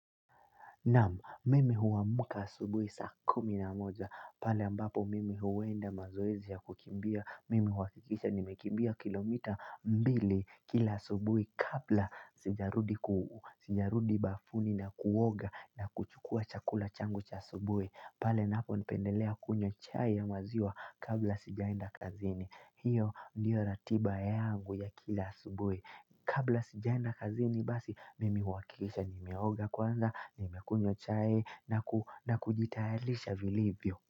Naam, mimi huwamuka asubui sakumi na moja, pale ambapo mimi huwenda mazoezi za kukimbia, mimi huwakikisha nimekimbia kilomita mbili kila asubui kabla sijarudi bafuni na kuoga na kuchukua chakula changu cha asubui. Pale napo nipendelea kunywa chai ya maziwa kabla sijaenda kazini hiyo ndiyo ratiba ya angu ya kila subwe Kabla sijaenda kazini basi mimi huakikisha nimioga kwanza Nimi kunywa chai na kujitayarisha vilivyo.